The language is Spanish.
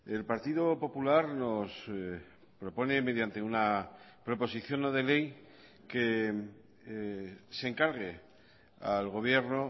el partido popular nos propone mediante una proposición no de ley que se encargue al gobierno